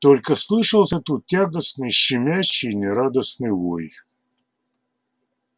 только слышался тут тягостный щемящий и нерадостный вой